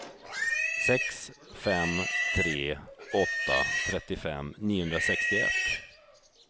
sex fem tre åtta trettiofem niohundrasextioett